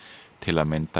til að mynda í